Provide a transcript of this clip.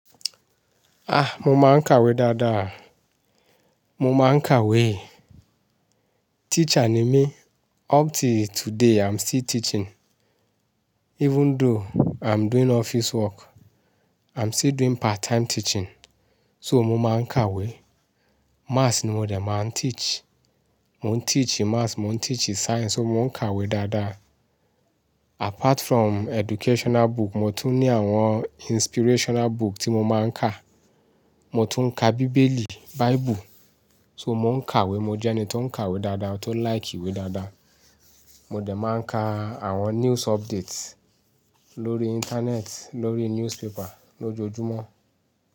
Ah! Mo máa ń kàwé dáadáa. Mo máa ń kàwé. Teacher ni mí. Up till today I'm still teaching. Even though I'm doing office work, I'm still doing part time teaching. So mo máa ń kàwé. Maths ni mo dẹ̀ máa ń teach. Mò ń teach ì math, mò ń teach ì science, so mò ń kàwé dáadáa. Apart from educational book, mo tún ní àwọn inspirational book tí mo máa ń kà. Mo tún ń ka bíbélì, Bible. So mò ń kàwé, mo jẹ́ ẹni tó ń kàwé dáadáa, tó like ìwé dáadáa. Mo dẹ̀ máa ń ka àwọn news updates lórí internet, lórí newspaper lójoojúmọ́.